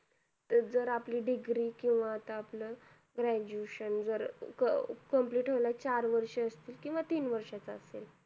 जर आपली degree केंव्हा आता आपलं graduation जर complete व्हायला चार वर्ष असतील केंव्हा तीन वर्ष च असेल